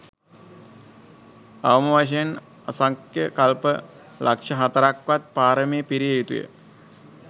අවමවශයෙන් අසංඛ්‍ය කල්ප ලක්‍ෂ හතරක්වත් පාරමි පිරිය යුතු ය.